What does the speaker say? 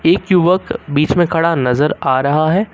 एक युवक बीच में खड़ा नजर आ रहा है।